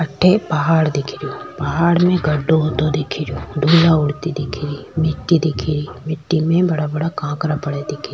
अठे पहाड़ दिखे रो पहाड़ में गढ़ो हुतो दिख रो धूला उड़ती दिखेरी मिट्टी दिख री मिट्टी में बड़ा बड़ा काकड़ा पड़या दिख --